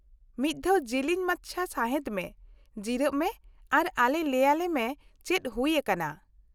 -ᱢᱤᱫ ᱫᱷᱟᱣ ᱡᱤᱞᱤᱧ ᱢᱟᱪᱷᱟ ᱥᱟᱸᱦᱮᱫ ᱢᱮ, ᱡᱤᱨᱟᱹᱜ ᱢᱮ ᱟᱨ ᱟᱞᱮ ᱞᱟᱹᱭᱟᱞᱮᱢᱮ ᱪᱮᱫ ᱦᱩᱭ ᱟᱠᱟᱱᱟ ᱾